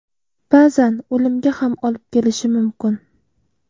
Ba’zan o‘limga ham olib kelishi mumkin.